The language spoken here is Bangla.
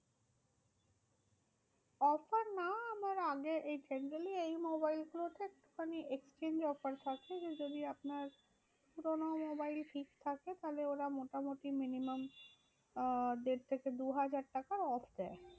Offer না আমার আগে এই generally এই মোবাইলগুলো তে company র exchange offer থাকে। যে যদি আপনার পুরোনো মোবাইল থাকে তাহলে ওরা মোটামুটি minimum আহ দেড় থেকে দু হাজার টাকার off দেয়।